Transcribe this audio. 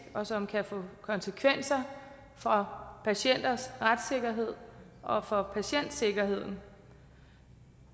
og som kan få konsekvenser for patienters retssikkerhed og for patientsikkerheden